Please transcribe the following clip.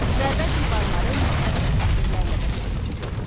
Məbəd divarları müxtəlif təsvirlərlə bəzədilirdi.